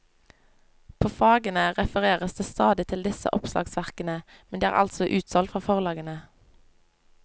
På fagene refereres det stadig til disse oppslagsverkene, men de er altså utsolgt fra forlagene.